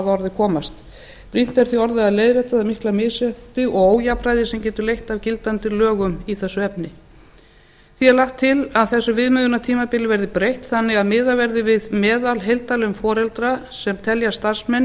orði komast brýnt er því orðið að leiðrétta það mikla misrétti og ójafnræði sem getur leitt af gildandi lögum í þessu efni því er lagt til að þessu viðmiðunartímabili verði breytt þannig að miðað verði við meðalheildarlaun foreldra sem teljast starfsmenn í